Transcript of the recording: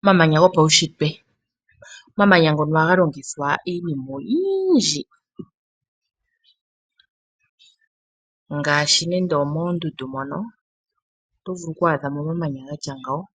Omamanya gopaushitwe .Omamanya ngoka ohaga longithwa iinima oyindji ngaashi mondundu moka otovulu owadha mo omamanya gatya ngaaka